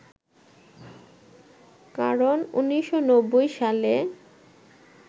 কারণ ১৯৯০ সালে